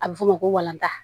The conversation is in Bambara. A bɛ f'o ma ko walantan